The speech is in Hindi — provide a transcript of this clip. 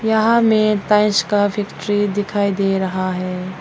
यहां में टाइल्स का फैक्ट्री दिखाई दे रहा है।